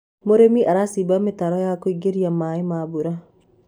mũrĩmi aracimba mitaro ya kugiririria maĩ ma mbura